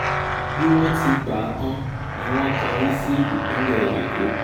bí wọ́n ti gbà á tán ni wọ́n kọrí sí ìpínlẹ̀ èkó